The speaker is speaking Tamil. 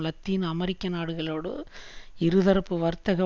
லத்தீன் அமெரிக்க நாடுகளோடு இருதரப்பு வர்த்தக